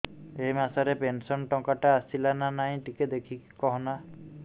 ଏ ମାସ ରେ ପେନସନ ଟଙ୍କା ଟା ଆସଲା ନା ନାଇଁ ଟିକେ ଦେଖିକି କହନା